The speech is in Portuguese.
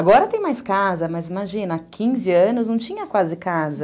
Agora tem mais casa, mas imagina, há quinze anos não tinha quase casa.